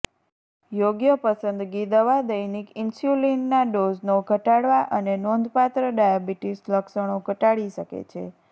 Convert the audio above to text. યોગ્ય પસંદગી દવા દૈનિક ઇન્સ્યુલિનના ડોઝનો ઘટાડવા અને નોંધપાત્ર ડાયાબિટીસ લક્ષણો ઘટાડી શકે છે